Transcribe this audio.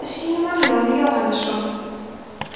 eftir símon jón jóhannsson